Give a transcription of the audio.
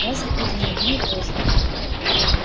разве это не одно и то же